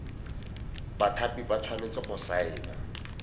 bathapi ba tshwanetse go saena